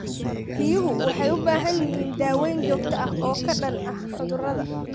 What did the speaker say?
Riyuhu waxay u baahan yihiin daaweyn joogto ah oo ka dhan ah cudurrada.